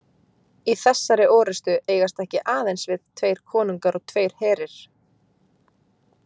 Í þessari orustu eigast ekki aðeins við tveir konungar og tveir herir.